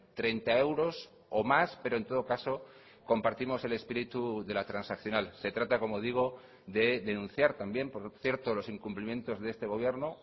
treinta euros o más pero en todo caso compartimos el espíritu de la transaccional se trata como digo de denunciar también por cierto los incumplimientos de este gobierno